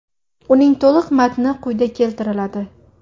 Uning to‘liq matni quyida keltiriladi.